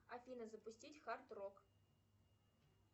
афина запустить хард рок